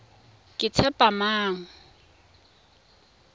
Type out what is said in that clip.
ketshepamang